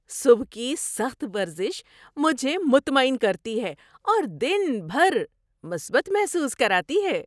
صبح کی سخت ورزش مجھے مطمئن کرتی ہے اور دن بھر مثبت محسوس کراتی ہے۔